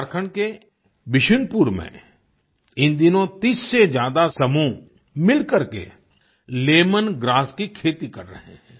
झारखंड के बिशुनपुर में इन दिनों 30 से ज्यादा समूह मिलकर के लेमोन ग्रास की खेती कर रहे हैं